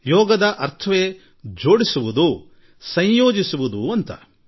ಯೋಗದ ಅರ್ಥವೇ ನಂಟು ಬಳೆಸುವುದು ಎಂದು